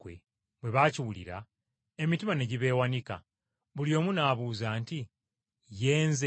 Bwe baakiwulira emitima ne gibeewanika, buli omu n’abuuza nti, “Ye nze?”